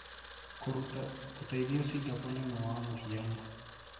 Kuruta ũteithio Singapore ni omwe wa muhiano.